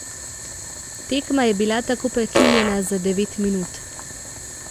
Tekma je bila tako prekinjena za devet minut.